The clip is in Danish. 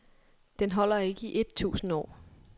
Den holder ikke i et tusind år.